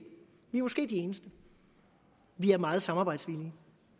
vi er måske de eneste vi er meget samarbejdsvillige